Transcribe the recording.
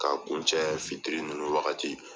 Ka kun cɛ fitiri ninnu wagati.